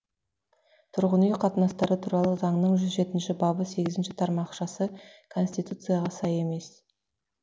тұрғын үй қатынастары туралы заңның жүзь жетінші бабы сегізінші тармақшасы конституцияға сай емес